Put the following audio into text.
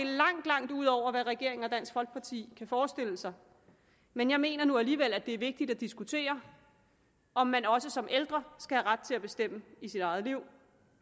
langt langt ud over hvad regeringen og dansk folkeparti kan forestille sig men jeg mener nu alligevel det er vigtigt at diskutere om man også som ældre skal have ret til at bestemme i sit eget liv